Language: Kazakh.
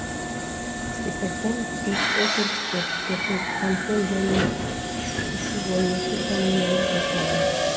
департамент төрт округ отыз екі кантон және үш жүз он екі коммунаны қосады